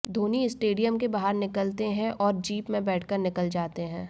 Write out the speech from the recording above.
Dhoni stadium के बाहर निकलते हैं और जीप में बैठकर निकल जाते हैं